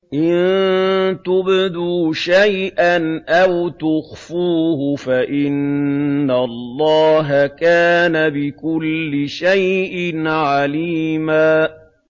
إِن تُبْدُوا شَيْئًا أَوْ تُخْفُوهُ فَإِنَّ اللَّهَ كَانَ بِكُلِّ شَيْءٍ عَلِيمًا